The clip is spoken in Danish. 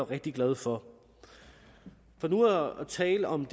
rigtig glad for for nu at tale om